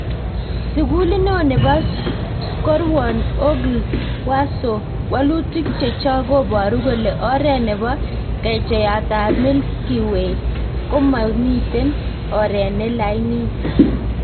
Sukulit neeo nebo Skowron / OGLE/Warsaw; walutik chechok kobaru kole oret nebo kechaiyat ab Milky Way komatiten oret ne lainit